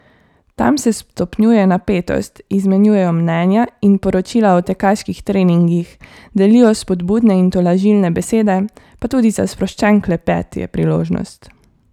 Tam se stopnjuje napetost, izmenjujejo mnenja in poročila o tekaških treningih, delijo spodbudne in tolažilne besede, pa tudi za sproščen klepet je priložnost.